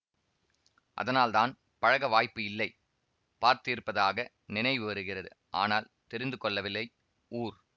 அதனால்தான் பழக வாய்ப்பு இல்லை பார்த்திருப்பதாக நினைவு வருகிறது ஆனால் தெரிந்து கொள்ளவில்லை ஊர்